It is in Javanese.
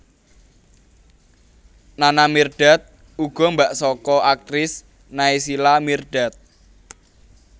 Nana Mirdad uga mbak saka aktris Naysila Mirdad